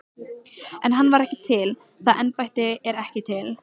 En hann er ekki til, það embætti er ekki til.